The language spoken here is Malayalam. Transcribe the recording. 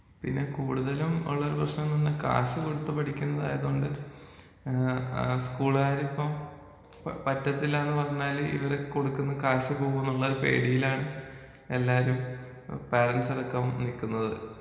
പിന്നെ കൂട്തലും ഒള്ളൊരു പ്രശ്നംന്നുണ്ടേ കാശ് കൊട്ത്ത് പഠിക്കുന്നതായതോണ്ട് ആ സ്കൂൾകാരിപ്പം രിപ്പം പറ്റത്തില്ലാന്ന് പറഞ്ഞാല് ഇവര് കൊട്ക്കുന്ന കാശ് പോകുംന്ന്ള്ളൊരു പേടീലാണ് എല്ലാരും ആ പാരൻസടക്കം നിക്ക്ന്നത്.